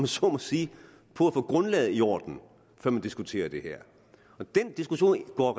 så må sige på at få grundlaget i orden før man diskuterer det her og den diskussion går